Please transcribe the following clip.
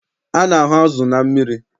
A na-ahụ azụ na mmiri.